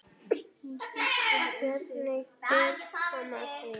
Hvernig er mamma þín?